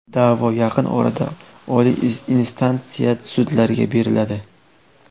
Da’vo yaqin orada oliy instansiya sudlariga beriladi.